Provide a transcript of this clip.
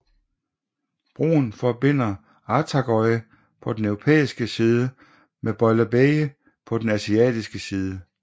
Broen forbinder Ortaköy på den europæiske side med Beylerbeyi på den asiatiske side